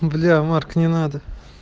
бля марк не надо